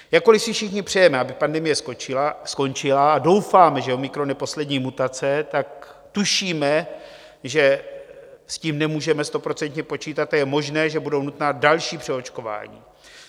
Jakkoliv si všichni přejeme, aby pandemie skončila, a doufáme, že omikron je poslední mutace, tak tušíme, že s tím nemůžeme stoprocentně počítat a je možné, že budou nutná další přeočkování.